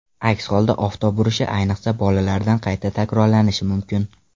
Aks holda oftob urishi, ayniqsa, bolalarda qayta takrorlanishi mumkin.